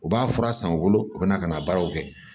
U b'a fura san u bolo u bɛ na ka na baaraw kɛ